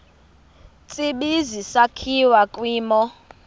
tsibizi sakhiwa kwimo